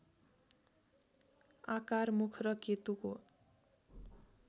आकार मुख र केतुको